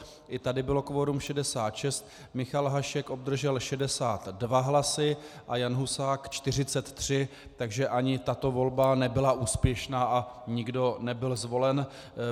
I tady bylo kvorum 66, Michal Hašek obdržel 62 hlasy a Jan Husák 43, takže ani tato volba nebyla úspěšná a nikdo nebyl zvolen.